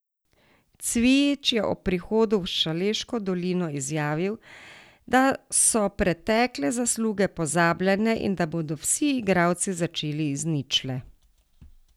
Cvijič je ob prihodu v Šaleško dolino izjavil, da so pretekle zasluge pozabljene in da bodo vsi igralci začeli z ničle.